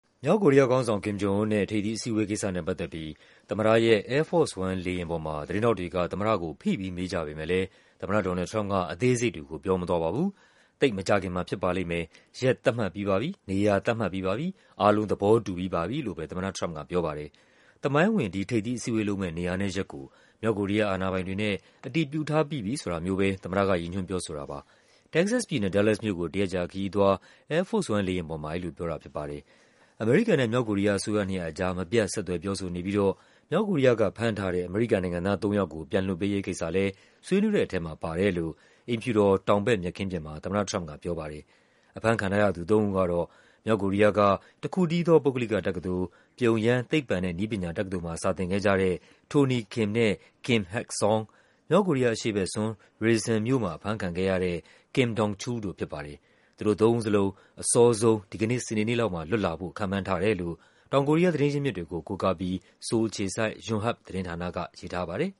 မြောက်ကိုရီးယားခေါင်းဆောင် Kim Jong Un နဲ့ ထိပ်သီးအစည်းအဝေးကိစ္စနဲ့ပတ်သက်ပြီး သမ္မတရဲ့ Air Force One လေယာဉ် ပေါ်မှာ သတင်းထောက်တွေက သမ္မတကို ဖိပြီး မေးကြပေမဲ့လည်း သမ္မတDonald Trump က အသေးစိတ်တွေကို ပြောမသွားပါဘူး။ “သိပ်မကြာခင်မှာ ဖြစ်ပါလိမ့်မယ်၊ ရက်သတ်မှတ်ပြီးပါပြီ၊ နေရာသတ်မှတ်ပြီးပါပြီ၊ အားလုံး သဘောတူပြီးပါပြီ” လို့ပဲ သမ္မတ ထရမ့်ပ်က ပြောပါတယ်။ သမိုင်းဝင် ဒီထိပ်သီးအစည်းအဝေးလုပ်မယ့် နေရာနဲ့ ရက်ကို မြောက်ကိုရီးယားအာဏာပိုင်တွေနဲ့ အတည်ပြုထားပြီးပြီဆိုတာမျိုးပဲ သမ္မတက ရည်ညွှန်းပြောဆိုတာပါ။ တက္ကဆက်စ်ပြည်နယ်၊ Dallas မြို့ကို တရက်ကြာခရီးအသွား Air Force လေယာဉ်ပေါ်မှာ အဲဒီလိုပြောတာဖြစ်ပါတယ်။ အမေရိကန်နဲ့ မြောက်ကိုရီးယား အစိုးရနှစ်ရပ်ကြား မပြတ် ဆက်သွယ် ပြောဆိုနေပြီးတော့ မြောက်ကိုရီးယားကဖမ်းထားတဲ့ အမေရိကန်နိုင်ငံသားသုံးယောက်ကို ပြန်လွှတ်ပေးရေးကိစ္စလည်း ဆွေးနွေးတဲ့ထဲမှာပါတယ်လို့ အိမ်ဖြူတော် တောင်ဘက် မြက်ခင်းပြင်မှာ သမ္မတထရမ့်ပ်က ပြောပါတယ်။ အဖမ်းခံထားရသူသုံးဦးကတော့ မြောက်ကိုရီးယားက တခုတည်းသော ပုဂ္ဂလိကတက္ကသိုလ် ပြုံယမ်း သိပ္ပံနဲ့နည်းပညာတက္ကသိုလ် မှာ စာသင်ခဲ့ကြတဲ့ Tony Kim နဲ့ Kim Hak-Song ၊ မြောက်ကိုရီးယားအရှေ့ဘက်စွန်း Rason မြို့မှာ အဖမ်းခံခဲ့ရတဲ့ Kim Dong-Chul တို့ဖြစ်ပါတယ်။ သူတို့သုံးဦးစလုံး အစောဆုံး ဒီကနေ့စနေနေ့လောက်မှာ လွတ်လာဖို့ ခန့်မှန်းထားတယ်လို့ တောင်ကိုရီး ယား သတင်းရင်းမြစ်တွေကို ကိုးကားပြီး ဆိုးလ်အခြေစိုက် ယွန်ဟပ်ပ်သတင်းဌာနက ရေးထားပါတယ်